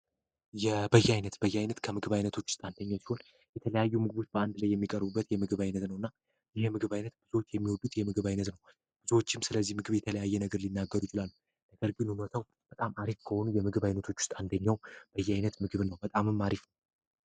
በያይነት ከምግብ አይነቶች ውስጥ አንዱ ሲሆን የተለያዩ የምግብ አይነቶች በአንድ የሚቀርቡበት የምግብ ዓይነት ነው ብዙዎችን ስለዚህ ምግብ የተለያየ አስተያየት ይሰጣሉ የተለያየ ነገር ይናገራሉ በጣም ሃሪፍ ከሆነ የምግብ አይነቶች ውስጥ አንደኛው ነው።